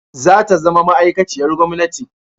Za ta zama ma'aikaciyar gwamnati